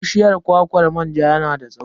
Bishiyar kwakwar manja yana da tsawo.